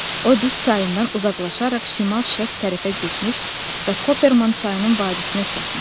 O dis çayından uzaqlaşaraq şimal-şərq tərəfə getmiş və Kopermayn çayının vadisinə çatmışdı.